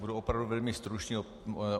Budu opravdu velmi stručný.